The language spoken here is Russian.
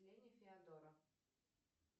феодора